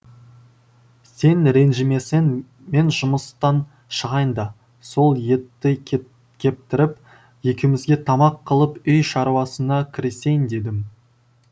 сен ренжімесең мен жұмыстан шығайын да сол етті кет кептіріп екеумізге тамақ қылып үй шаруасына кірісейін дедім